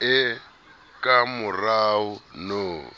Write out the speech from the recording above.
e kamorao no